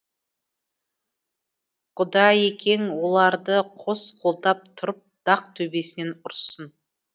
құдайекең оларды қос қолдап тұрып дақ төбесінен ұрсын